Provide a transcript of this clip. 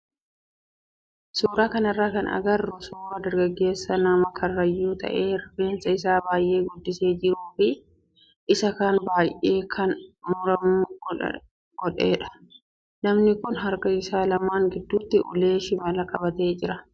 Suuraa kanarraa kan agarru suuraa dargaggeessa nama karrayyuu ta'ee rifeensa isaa baay'ee guddisee jiruu fi isa kaan baay'ee akka maramu godhedha. Namni kun harka isaa lamaan gidduutti ulee shimalaa qabatee jira.